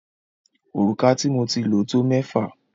Òrùka tí mo ti lo tó mẹ́fà.